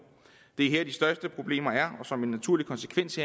det er her de største problemer er og som en naturlig konsekvens